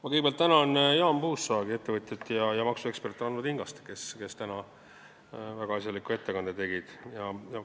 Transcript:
Ma kõigepealt tänan Jaan Puusaagi, ettevõtjat, ja maksuekspert Ranno Tingast, kes täna väga asjaliku ettekande tegid!